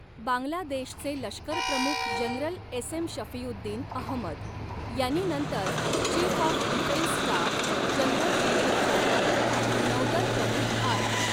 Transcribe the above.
बांगलादेशचे लष्करप्रमुख general S M Shafiuddin Ahmed यांनी नंतर chief of defence staff general Anil Chauhan, नौदल प्रमुख आर.